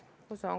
Kõik.